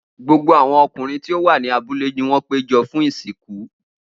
Gbogbo awọn ọkunrin ti o wa ni abule ni wọn pejọ fun isinku.